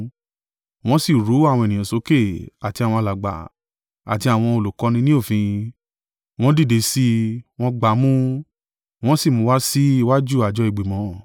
Wọ́n sí ru àwọn ènìyàn sókè, àti àwọn alàgbà, àti àwọn olùkọ́ni ní òfin. Wọ́n dìde sí i, wọ́n gbá a mú, wọ́n sì mú un wá sí iwájú àjọ ìgbìmọ̀.